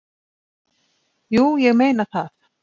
"""Jú, ég meina það."""